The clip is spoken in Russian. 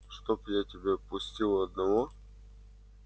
чтоб я тебя пустил одного